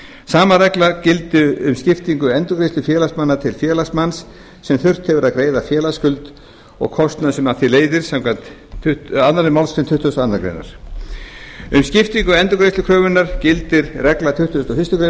sama regla gildir um skiptingu endurgreiðslu félagsmanna til félagsmanns sem þurft hefur að greiða félagsskuld og kostnað sem af því leiðir samkvæmt annarri málsgrein tuttugustu og aðra grein um skiptingu endurgreiðslukröfunnar gildir regla tuttugasta og fyrstu